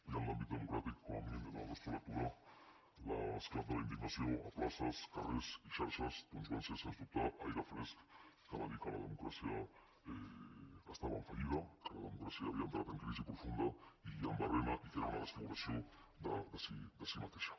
i en l’àmbit democràtic com a mínim des de la nostra lectura l’esclat de la indignació a places carrers i xarxes doncs va ser sens dubte aire fresc que va dir que la democràcia estava en fallida que la democràcia havia entrat en crisi profunda i en barrina i que era una desfiguració de si mateixa